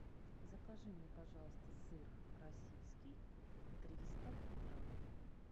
закажи мне пожалуйста сыр российский триста грамм